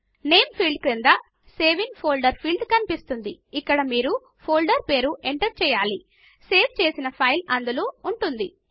name field క్రింద save in folder field కనిపిస్తుంది ఇక్కడ మీరు ఫోల్డర్ పేరు ఎంటర్ చేయాల సేవ్ చేసిన ఫైల్ అందులో ఉంటుంది